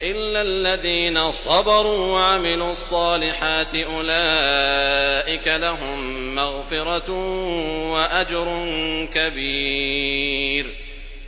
إِلَّا الَّذِينَ صَبَرُوا وَعَمِلُوا الصَّالِحَاتِ أُولَٰئِكَ لَهُم مَّغْفِرَةٌ وَأَجْرٌ كَبِيرٌ